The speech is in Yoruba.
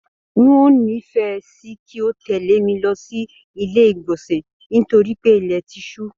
N o n'ifẹ sí kí o tẹle mí lọ sí ilé igbọnsẹ nítorí pé ilẹ ti ṣu.